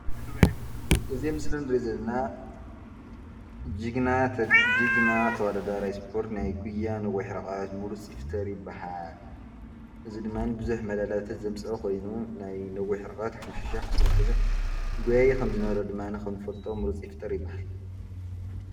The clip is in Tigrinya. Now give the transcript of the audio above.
እዚ ምስሊ ንሪኦ ዘለና ጅግና ተወዳደራይ ስፖርት ናይ ጉያ ነውሒ ርሕቀት ምሩፅ ይፍጠር ይበሃል። እዙይ ድማ ቡዙሕ ሜዳልያታት ዘምፀአ ኾይኑ ናይ ነዊሕ ርሕቀት ሓሙሽተ ሸሕ ፣ዓሰርተ ሸሕ ጎያዩ ዝኾነ ምሩፅ ይፍጠር ይበሃል።